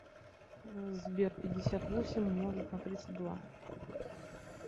сбер пятьдесят восемь умножить на тридцать два